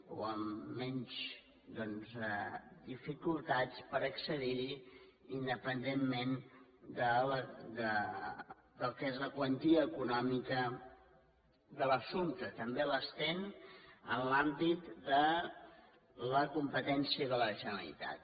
o amb menys doncs dificultats per accedir hi independentment del que és la quantia econòmica de l’assumpte també l’estén en l’àmbit de la competència de la generalitat